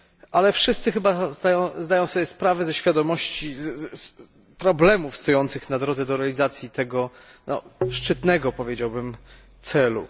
ale wszyscy chyba zdają sobie sprawę z problemów stojących na drodze do realizacji tego szczytnego, powiedziałbym, celu.